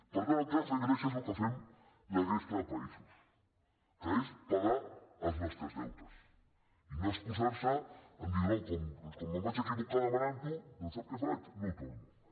per tant el que ha de fer grècia és el que fem la resta de països que és pagar els nostres deutes i no excusar se a dir no com que em vaig equivocar demanant ho doncs sap què faig no ho torno